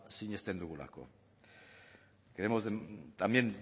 sinesten dugulako queremos también